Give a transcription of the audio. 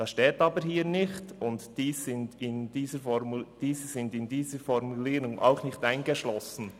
Das steht hier aber nicht, und diese sind in dieser Formulierung auch nicht eingeschlossen.